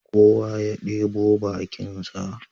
Kowa ya ɗebo bakinsa